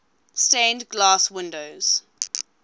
stained glass windows